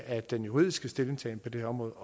at den juridiske stillingtagen på det her område